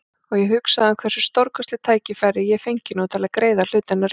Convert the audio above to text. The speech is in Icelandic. Og ég hugsaði um hversu stórkostlegt tækifæri ég fengi nú til að gera hlutina rétt.